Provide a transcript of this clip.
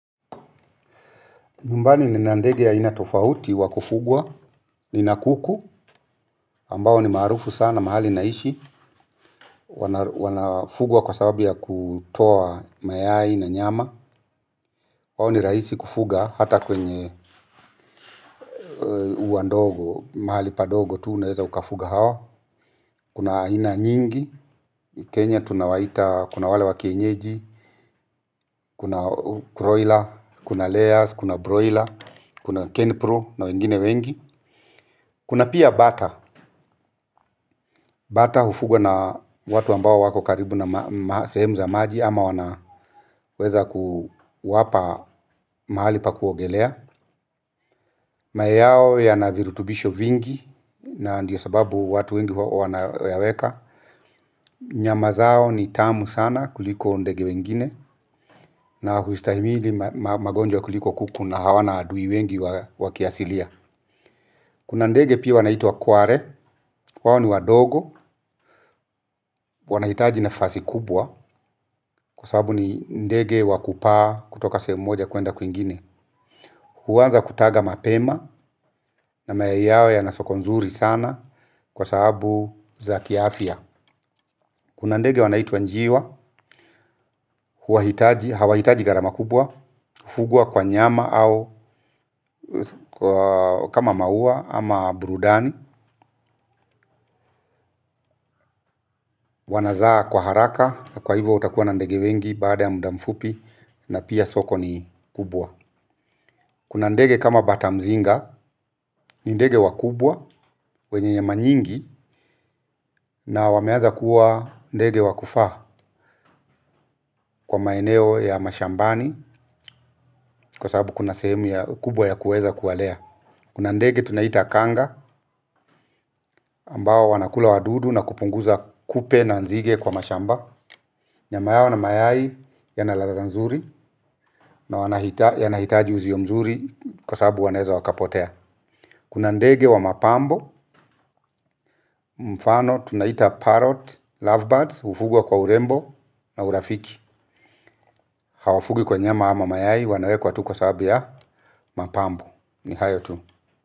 Mbali nina ndege ya aina tofauti wa kufugwa, nina kuku, ambao ni maarufu sana, mahali naishi, wanafugwa kwa sababu ya kutoa mayai na nyama. Wao ni raisi kufuga hata kwenye uandogo, mahali padogo tu unaeza ukafuga hawa. Kuna ina nyingi, Kenya tunawaita, kuna wale wakienyeji, kuna broila, kuna layers, kuna broila, kuna kenpro na wengine wengi. Kuna pia bata, bata hufugwa na watu ambao wako karibu na sehemu za maji ama wanaweza kuwapa mahali pa kuogelea. Mayai yao yanavirutubisho vingi na ndiyo sababu watu wengi wanaweka. Nyama zao ni tamu sana kuliko ndege wengine na huistahimili magonjwa kuliko kuku na hawana adui wengi wakiasilia. Kuna ndege pia wanaitwa kware, wao ni wadogo, wanahitaji nafasi kubwa kwa sababu ni ndege wakupaa kutoka sehemu moja kwenda kuingine. Huaza kutaga mapema na mayai yao yana soko nzuri sana kwa sababu za kiafia. Kuna ndege wanaitwa njiwa, hawahitaji ngarama kubwa, hufugwa kwa nyama au kama maua ama burudani. Wanazaa kwa haraka kwa hivyo utakuwa na ndege wengi baada ya muda mfupi na pia soko ni kubwa. Kuna ndege kama batamzinga ni ndege wakubwa wenye nyama nyingi na wameanza kuwa ndege wakufaa kwa maeneo ya mashambani. Kwa sababu kuna semu ya kubwa ya kuweza kuwalea. Kuna ndege tunaita kanga ambao wanakula wadudu na kupunguza kupe na nzige kwa mashamba. Nyama yao na mayai yanaladha mzuri. Na wanahitaji uzio mzuri kwa sabu wanaeza wakapotea. Kuna ndege wa mapambo. Mfano tunaita parrot, lovebirds, ufugwa kwa urembo na urafiki. Hawafugwi kwa nyama ama mayai wanawekwa tu kwa sababu ya mapambo. Ni hayo tu.